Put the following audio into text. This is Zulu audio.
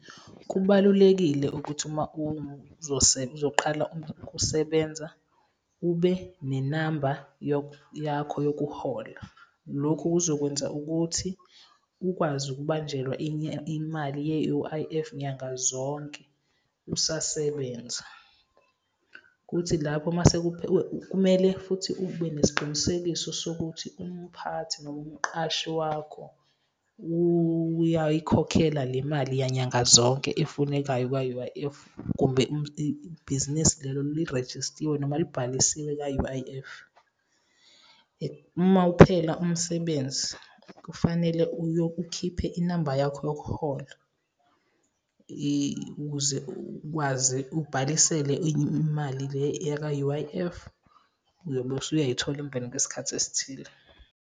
Kubalulekile ukuthi uma uzoqala ukusebenza ube nenamba yakho yokuhola. Lokhu kuzokwenza ukuthi ukwazi ukubanjelwa enye imali ye-U_I_F nyanga zonke usasebenza. Kuthi lapho mase , kumele futhi ube nesiqinisekiso sokuthi umphathi noma umqashi wakho uyayikhokhela le mali yanyanga zonke efunekayo kwa-U_I_F kumbe bhizinisi lelo lirejistiwe noma libhalisiwe ka-U_I_F. Uma uphela umsebenzi, kufanele ukhiphe inamba yakho yokuhola ukuze ukwazi ubhalisele imali le yaka-U_I_F, uyobe usuyayithola emveni kwesikhathi esithile.